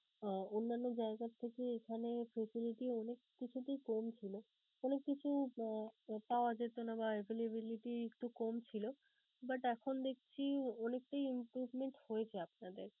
অন্যান্য জায়গার থেকে এখানে facility অনেক কিছুতেই কম ছিলো. অনেক কিছু আহ পাওয়া যেতোনা বা avaiability একটু কম ছিলো but এখন দেখছি অনেকটাই improvement হয়েছে আপনাদের.